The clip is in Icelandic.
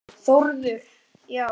Þórður: Já?